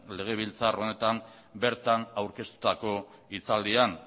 legebiltzar honetan bertan aurkeztutako hitzaldian